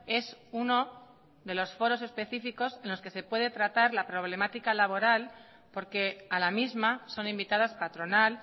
es uno de los foros específicos en los que se puede tratar la problemática laboral porque a la misma son invitadas patronal